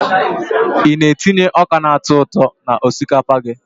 I na-etinye ọka na-atọ ụtọ n'osikapa gị?